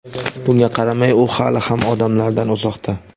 Bunga qaramay u hali ham odamlardan uzoqda.